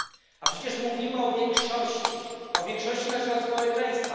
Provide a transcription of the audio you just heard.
A przecież mówimy o większości, o większości naszego społeczeństwa.